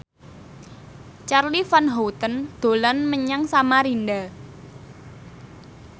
Charly Van Houten dolan menyang Samarinda